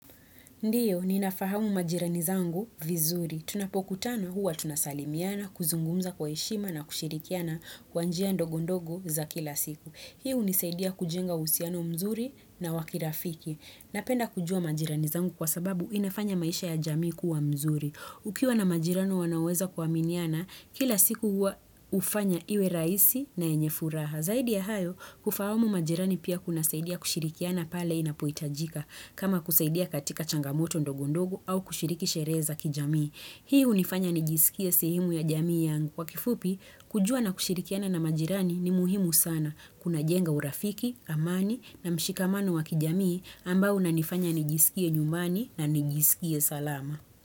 Ndiyo, ninafahamu majirani zangu vizuri. Tunapokutana huwa tunasalimiana, kuzungumza kwa heshima na kushirikiana kwa njia ndogo ndogo za kila siku. Hii hunisaidia kujenga uhusiano mzuri na wakirafiki. Napenda kujua majirani zangu kwa sababu inafanya maisha ya jamii kuwa mzuri. Ukiwa na majirani wanaoweza kuaminiana, kila siku huwa hufanya iwe rahisi na yenye furaha. Zaidi ya hayo, kufahamu majirani pia kunasaidia kushirikiana pale inapohitajika, kama kusaidia katika changamoto ndogo ndogo au kushiriki sherehe za kijamii. Hii hunifanya nijisikie sehemu ya jamii yangu. Kwa kifupi, kujua na kushirikiana na majirani ni muhimu sana. Unajenga urafiki, amani na mshikamano wa kijamii ambao unanifanya nijisikia nyumbani na nijisikie salama.